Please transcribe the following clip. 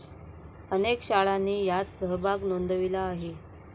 अनेक शाळांनी यात सहभाग नोंदविला आहे.